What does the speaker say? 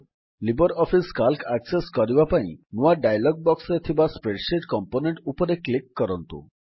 Libre office C A L C access କରିବା ପାଇଁ ନୂଆ ଡାୟଲଗ୍ ବକ୍ସରେ ଥିବା ସ୍ପ୍ରେଡଶିଟ୍ କମ୍ପୋନେଣ୍ଟ୍ ଉପରେ କ୍ଲିକ୍ କରନ୍ତୁ